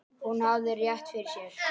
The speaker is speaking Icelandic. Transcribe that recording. Hún hafði rétt fyrir sér.